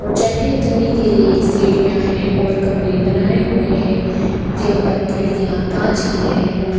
और चढ़ने उतरने के लिए सीढ़ियां हैं और कमरे बनाए हुए हैं जिन पर खिड़कियां कांच की है और।